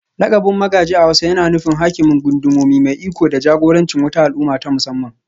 Lakabin Magaji a hausa yana nufin Hakimin Gundumomi, mai iko da jagorancin wata al'umma ta musamman